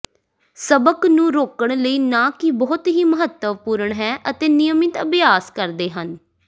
ਸਬਕ ਨੂੰ ਰੋਕਣ ਲਈ ਨਾ ਕੀ ਬਹੁਤ ਹੀ ਮਹੱਤਵਪੂਰਨ ਹੈ ਅਤੇ ਨਿਯਮਿਤ ਅਭਿਆਸ ਕਰਦੇ ਹਨ